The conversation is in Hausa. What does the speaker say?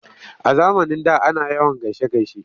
A zamanin da ana yawan gaishe-gaishe.